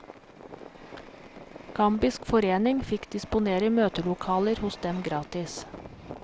Gambisk forening fikk disponere møtelokaler hos dem gratis.